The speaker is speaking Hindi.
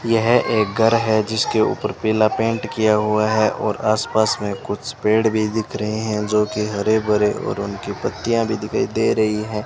यह एक घर है जिसके ऊपर पीला पेंट किया हुआ है और आसपास में कुछ पेड़ भी दिख रहे हैं जो की हरे भरे और उनकी पत्तियां भी दिखाई दे रही है।